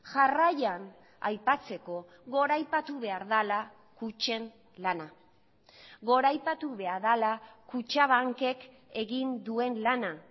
jarraian aipatzeko goraipatu behar dela kutxen lana goraipatu behar dela kutxabankek egin duen lana